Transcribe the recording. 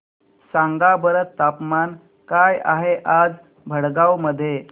सांगा बरं तापमान काय आहे आज भडगांव मध्ये